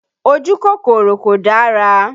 Ojú kòkòrò kò dára